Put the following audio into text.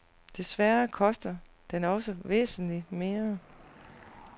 Desværre koster den også væsentligt mere.